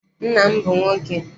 Nna m bụ nwoke.